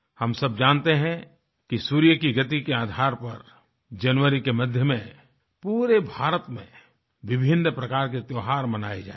हम सब जानते हैं कि सूर्य की गति के आधार पर जनवरी के मध्य में पूरे भारत में विभिन्न प्रकार के त्यौहार मनाये जाएंगे